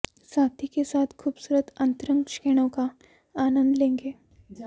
साथी के साथ खूबसूरत अंतरंग क्षणों का आनंद लेंगे